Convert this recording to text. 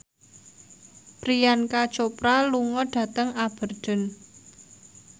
Priyanka Chopra lunga dhateng Aberdeen